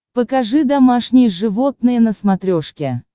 покажи домашние животные на смотрешке